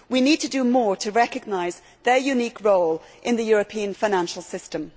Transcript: We need to do more to recognise their unique role in the European financial system.